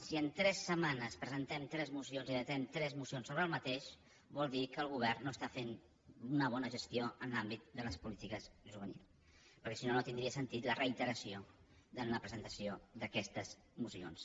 si en tres setmanes presentem tres mocions i datem tres mocions sobre el mateix vol dir que el govern no està fent una bona gestió en l’àmbit de les polítiques juvenils perquè si no no tindria sentit la reiteració en la presentació d’aquestes mocions